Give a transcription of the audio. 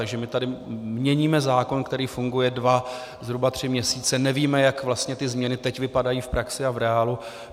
Takže my tady měníme zákon, který funguje dva, zhruba tři měsíce, nevíme, jak vlastně ty změny teď vypadají v praxi a v reálu.